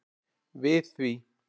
við því.